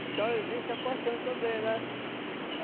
Então existe a paixão também, né?